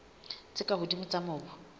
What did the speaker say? tse ka hodimo tsa mobu